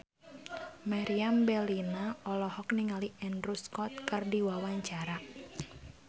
Meriam Bellina olohok ningali Andrew Scott keur diwawancara